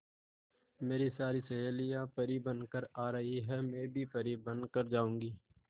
मेरी सारी सहेलियां परी बनकर आ रही है मैं भी परी बन कर जाऊंगी